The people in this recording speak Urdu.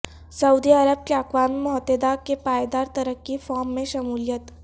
سعودی عرب کی اقوام متحدہ کے پائیدار ترقی فورم میں شمولیت